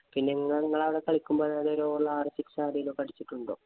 പിന്നെ നിങ്ങള് നിങ്ങടവിടെ കളിക്കുമ്പോള്‍ ഒരു over ഇല്‍ ആറു six ആരേലുമൊക്കെ അടിച്ചിട്ടുണ്ടോ?